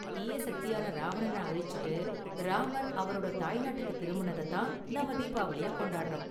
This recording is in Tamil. தீய சக்தியான ராவணன அழிச்சுட்டு ராமர் அவரோட தாய்நாட்டுக்கு திரும்புனத தான் நாம தீபாவளியா கொண்டாடுறோம்.